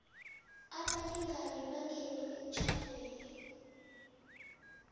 abalingani bangene emtjhadweni